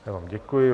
Já vám děkuji.